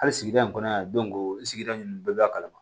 Hali sigida in kɔnɔ yan sigida ninnu bɛɛ b'a kalama